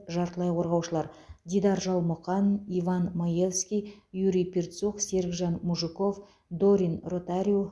жартылай қорғаушылар дидар жалмұқан иван маевский юрий перцух серікжан мужиков дорин ротариу